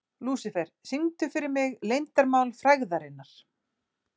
Lúsifer, syngdu fyrir mig „Leyndarmál frægðarinnar“.